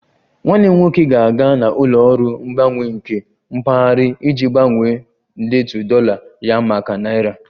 Nwanne m nwoke ga-aga na ụlọ ọrụ mgbanwanye nke mpaghara iji gbanwee ndetu dollar ya maka naira